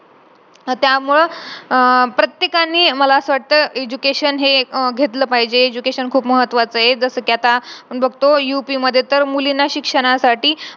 कारण का आपल्याला एवढे नाही भेटले आपल्या घरचा कडून expectation खूप जास्त होती पण आपण त्याला सामोरे नाही गेलो आपल्याला खूप कमी पडले आता मी कसं सावरेल जाऊन मग मी काय म्हणू काय तोंड दाखव घरच्यांना.